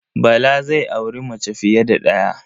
Bala zai auri mace fiye da ɗaya.